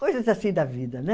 Coisas assim da vida, né?